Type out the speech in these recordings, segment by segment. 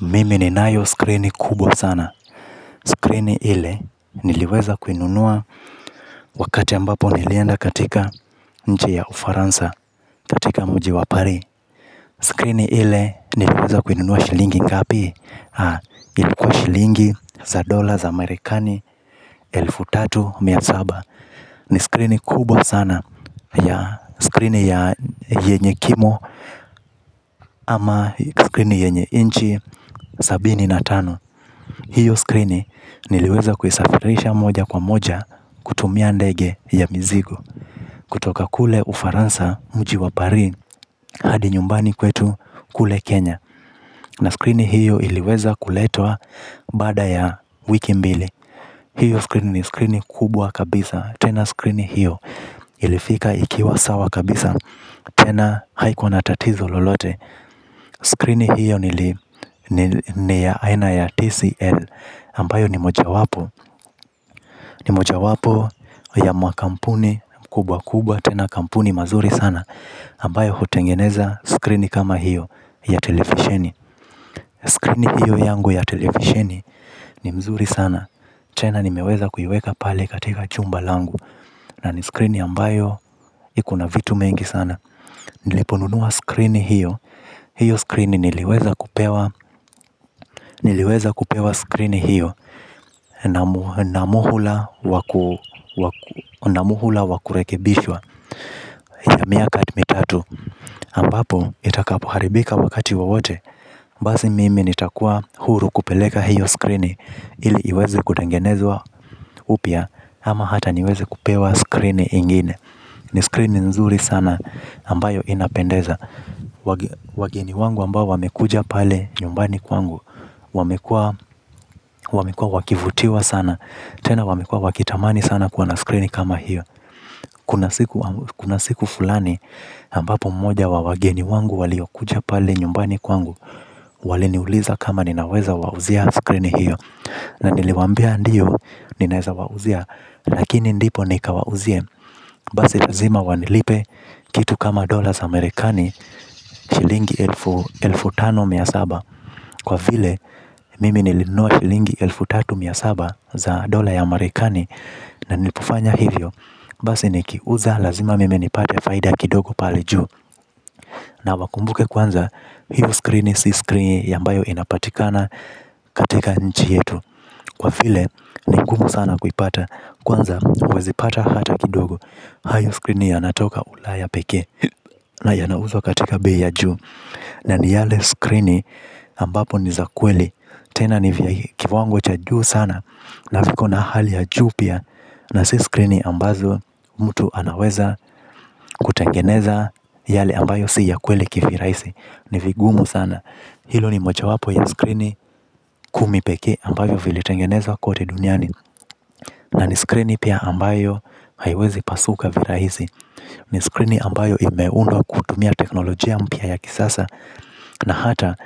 Mimi ni nayo skrini kubwa sana. Skrini ile niliweza kuinunua. Wakati ambapo nilienda katika nchi ya ufaransa. Katika mji wa paris. Skrini ile niliweza kuinunua shilingi ngapi. Haa ilikuwa shilingi za dola za marekani elfu tatu mia zaba. Ni skrini kubwa sana ya skrini ya yenye kimo ama skrini yenye inchi sabini na tano. Hiyo skrini niliweza kuisafirisha moja kwa moja kutumia ndege ya mizigo. Kutoka kule ufaransa mjiwa paris hadi nyumbani kwetu kule Kenya. Na skrini hiyo iliweza kuletwa baada ya wiki mbili. Hiyo skrini ni skrini kubwa kabisa. Tena skrini hiyo ilifika ikiwa sawa kabisa tena haikua na tatizo lolote skrini hiyo niya aina ya TCL ambayo ni mojawapo ya makampuni kubwa tena kampuni mazuri sana ambayo hutengeneza screen kama hiyo ya televishini Screen hiyo yangu ya televisheni. Ni mzuri sana tena nimeweza kuiweka pale katika chumba langu. Na ni screen ambayo ikona vitu mingi sana. Niliponunua screen hiyo. Hiyo screen niliweza kupewa. Niliweza kupewa screen hiyo namuhula wakurekebishwa yamiaka mi tatu ambapo itakapoharibika wakati wowote. Basi mimi nitakuwa huru kupeleka hiyo skrini ili iweze kutengenezwa upya. Ama hata niwezi kupewa skrini ingine. Ni skrini nzuri sana ambayo inapendeza. Wageni wangu ambao wamekuja pale nyumbani kwangu. Wamekua wakivutiwa sana. Tena wamekuwa wakitamani sana kuwa na screen kama hiyo. Kuna siku fulani ambapo mmoja wawageni wangu wali okuja pale nyumbani kwangu. Wali niuliza kama ninaweza wauzia screen hiyo. Na niliwambia ndiyo ninaweza wauzia lakini ndipo nikawauzie. Basilazima wanilipe kitu kama dollarza marekani shilingi elfu tano na mia saba. Kwa vile mimi nilinunua shilingi elfu tatu na mia saba za dola ya amerikani. Na nilipofanya hivyo. Basi ni kiuza lazima mimi nipate faida kidogo palejuu. Na wakumbuke kwanza. Hiyo screen si screen ambayo inapatikana katika nchi yetu. Kwa vile ni ngumu sana kuipata. Kwanza huwezipata hata kidogo. Hayo screen yanatoka ula ya pekee. Na yanauzwa katika bei juu. Na ni yale screen ambapo ni za kweli. Tena nivya kiwango cha juu sana. Na viko na hali ya juu pia. Na si skrini ambazo mtu anaweza kutengeneza yale ambayo si ya kweli kivirahisi. Nivigumu sana. Hilo ni moja wapo ya skrini kumipekee ambavyo vilitengenezwa kote duniani. Na ni skrini pia ambayo haiwezi pasuka virahisi. Ni skrini ambayo imeundwa kutumia teknolojia mpya ya kisasa. Na hata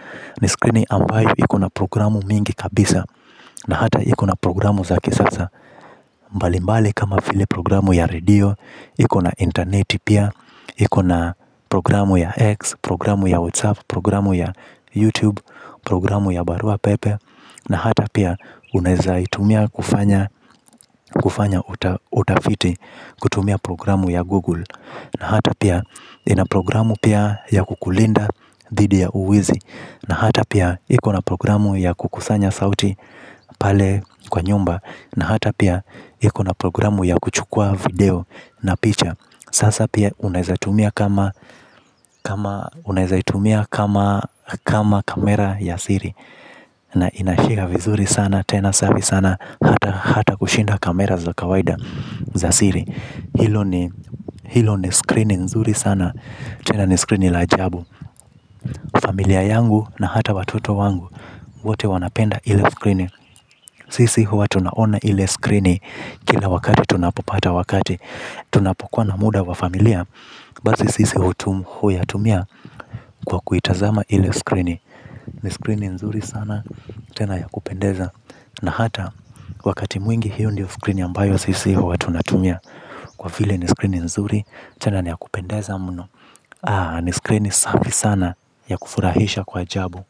ni skrini ambayo ikona programu mingi kabisa. Na hata ikuna programu za kisasa. Mbali mbali kama vili programu ya radio, ikona internet pia, ikona programu ya X, programu ya WhatsApp, programu ya YouTube, programu ya Barua Pepe. Na hata pia unaweza itumia kufanya utafiti kutumia programu ya Google. Na hata pia ina programu pia ya kukulinda dhidi ya uwizi. Na hata pia ikona programu ya kukusanya sauti pale kwa nyumba. Na hata pia ikona programu ya kuchukua video na picha. Sasa pia unawezaitumia kama kamera ya Siri. Na inashare vizuri sana tena safi sana. Hata kushinda kamera za kawaida za Siri. Hilo ni screeni nzuri sana tena ni screeni la ajabu. Familia yangu na hata watoto wangu. Wote wanapenda ile screeni. Sisi hua tunaona ile screen. Kila wakati tunapopata wakati. Tunapokuwa na muda wa familia. Basi sisi huya tumia kwa kuitazama ile screen. Ni screen nzuri sana. Tena ya kupendeza. Na hata wakati mwingi hiyo ndiyo skrini ambayo sisi hua tuna tumia. Kwa vile ni screen nzuri. Tena niya kupendeza mno Aa ni screen safi sana ya kufurahisha kwa ajabu.